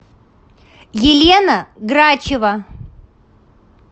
елена грачева